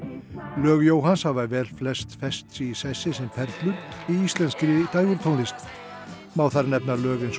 lög Jóhanns hafa velflest fest sig í sessi sem perlur í íslenskri dægurtónlist má þar nefna lög eins og